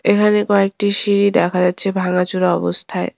এখানে কয়েকটি সিঁড়ি দেখা যাচ্ছে ভাঙাচোরা অবস্থায়।